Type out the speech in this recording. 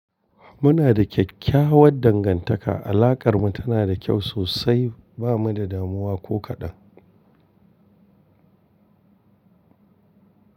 Muna da kyakkyawar dangantaka. Alakar mu tana da kyau sosai ba mu da damuwa ko kaɗan.